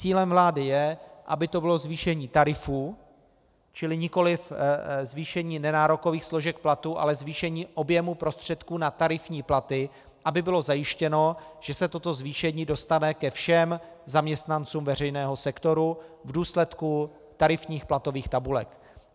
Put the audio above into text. Cílem vlády je, aby to bylo zvýšení tarifů, čili nikoliv zvýšení nenárokových složek platu, ale zvýšení objemu prostředků na tarifní platy, aby bylo zajištěno, že se toto zvýšení dostane ke všem zaměstnancům veřejného sektoru v důsledku tarifních platových tabulek.